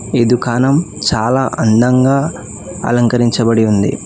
ఈ ధుకాణం చాలా అందంగా అలంకరించబడి ఉంది.